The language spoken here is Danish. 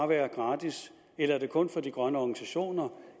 være gratis eller er det kun for de grønne organisationer